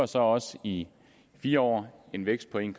så også i fire år en vækst på en